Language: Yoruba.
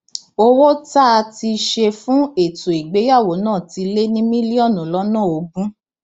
owó tá a ti ṣe fún ètò ìgbéyàwó náà ti lé ní mílíọnù lọnà ogún